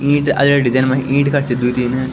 ईंट अडलटी जन मै ईंट का छी द्वि तीन ।